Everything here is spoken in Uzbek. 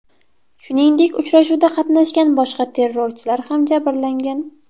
Shuningdek, uchrashuvda qatnashgan boshqa terrorchilar ham jabrlangan.